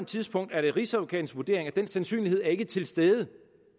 tidspunkt er det rigsadvokatens vurdering at den sandsynlighed ikke er til stede